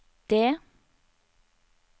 D